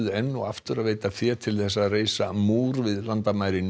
enn og aftur að veita fé til þess að reisa múr við landamærin